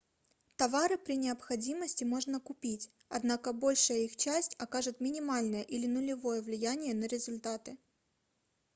товары при необходимости можно купить однако большая их часть окажет минимальное или нулевое влияние на результаты